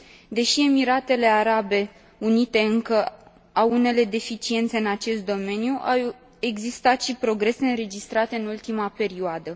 Deși Emiratele Arabe Unite încă au unele deficiențe în acest domeniu, au existat și progrese înregistrate în ultima perioadă.